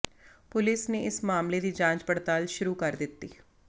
police ਨੇ ਇਸ ਮਾਮਲੇ ਦੀ ਜਾਂਚ ਪੜਤਾਲ ਸ਼ੁਰੂ ਕਰ ਦਿੱਤੀ